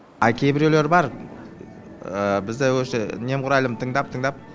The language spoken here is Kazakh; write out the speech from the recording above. а кейбіреулер бар бізді уже немқұрайлым тыңдап тыңдап